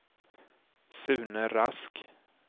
Sune Rask